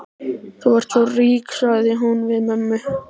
Þú ert svo rík, sagði hún við mömmu.